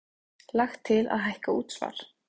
Lagt til að hækka útsvar